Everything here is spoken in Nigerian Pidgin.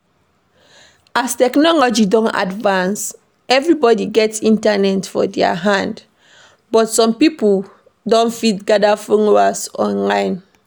As technology don advance, everybody get internet for their hand, but some pipo don fit gather followers online